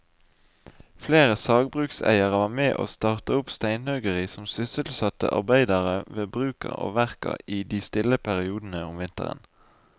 Flere sagbrukseiere var med å starte opp steinhuggeri som sysselsatte arbeidere ved bruka og verka i de stille periodene om vinteren.